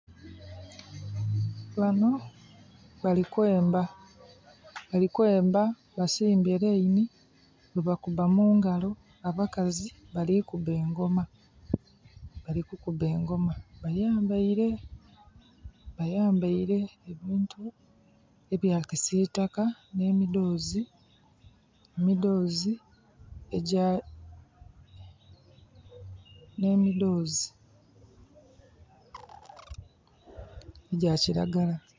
Bano bali kwemba. Bali kwemba basimbye line bwebakuba mungalo. Abakazi bali kuba engoma. Bali kukuba engoma, bayambaile, bayambaile ebintu ebya kisiitaka, nh'emidhoozi, emidhoozi egya, nh'emidhoozi egya kiragala.